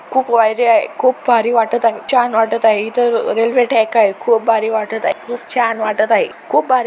खुप वायरे आहे. खुप भारी वाटत आहे. छान वाटत आहे. इथ रेलवे ट्रैक आहे. खुप भारी वाटत आहे. खुप छान वाटत आहे. खुप भारी--